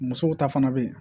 Musow ta fana bɛ yen